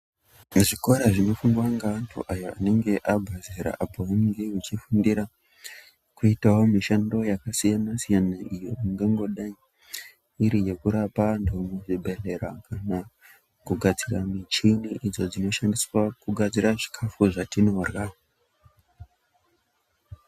Zvikora zvinofundwa ngeantu aya anenge abve zera ,apo pamunenge muchifundira kuitawo mishando yakasiyana siyana ,imwe ingangodai iri yekurapa antu muzvibhedhlera kana kugadzira muchini idzo dzinoshandiswa kugadzira zvikafu zvatinodhla